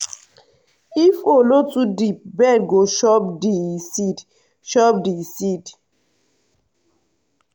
if hole no too deep bird go chop di seed. chop di seed.